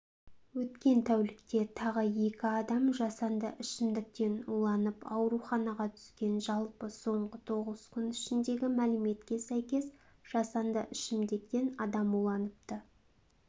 өткен тәулікте тағы екі адам жасанды ішімдіктен уланып ауруханаға түскен жалпы соңғы тоғыз күн ішіндегі мәліметке сәйкес жасанды ішімдіктен адам уланыпты